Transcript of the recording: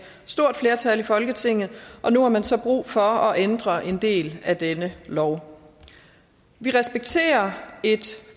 stort flertal i folketinget og nu har man så brug for at ændre en del af denne lov vi respekterer at et